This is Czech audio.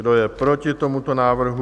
Kdo je proti tomuto návrhu?